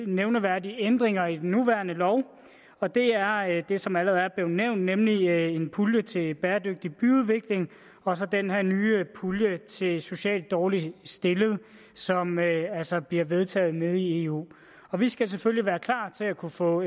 nævneværdige ændringer i den nuværende lov og det er er det som allerede er blevet nævnt nemlig en pulje til bæredygtig byudvikling og så den her nye pulje til socialt dårligt stillede som altså bliver vedtaget nede i eu vi skal selvfølgelig være klar til at kunne få